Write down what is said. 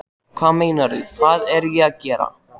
Hvað meinarðu, hvað er ég að gera?